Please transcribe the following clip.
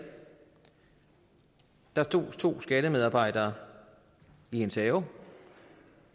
der stod to skattemedarbejdere i hendes have